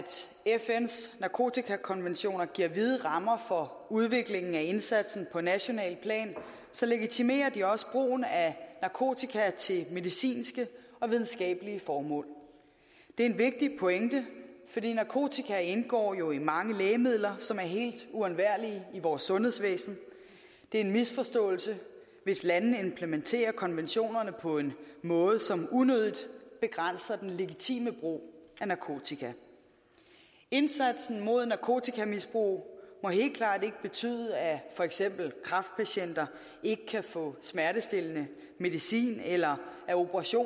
fns narkotikakonventioner giver vide rammer for udviklingen af indsatsen på nationalt plan legitimerer de også brugen af narkotika til medicinske og videnskabelige formål det er en vigtig pointe fordi narkotika jo indgår i mange lægemidler som er helt uundværlige i vores sundhedsvæsen det er en misforståelse hvis landene implementerer konventionerne på en måde som unødigt begrænser den legitime brug af narkotika indsatsen mod narkotikamisbrug må helt klart ikke betyde at for eksempel kræftpatienter ikke kan få smertestillende medicin eller at operationer